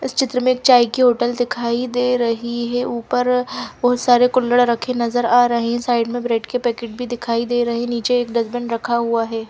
इस चित्र में चाय की होटल दिखाई दे रही है ऊपर बहुत सारे कुल्रहड़ रखे नजर आ रहे हैं साइड में ब्रेड के पैकेट भी दिखाई दे रहे हैं नीचे डस्टबिन रखा हुआ है।